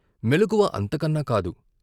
మెలకువ అంతకన్నా కాదు.